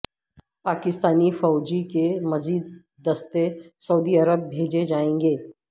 پاکستانی فوج کے مزید دستے سعودی عرب بھیجے جائیں گے